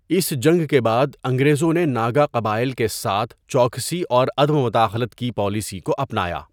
اس جنگ کے بعد انگریزوں نے ناگا قبائل کے ساتھ چوکسی اور عدم مداخلت کی پالیسی کو اپنایا۔